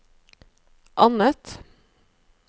annet